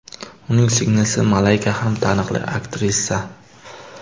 Uning singlisi Malayka ham taniqli aktrisa.